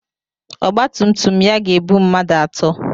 Ọgba tum tum ya ga-ebu mmadụ atọ.